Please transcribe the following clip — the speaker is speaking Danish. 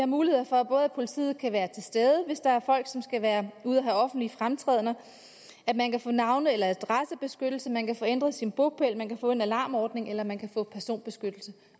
mulighed for at politiet kan være til stede hvis der er folk som skal ud at have offentlige fremtrædener man kan få navne eller adressebeskyttelse man kan få ændret sin bopæl man kan få en alarmordning eller man kan få personbeskyttelse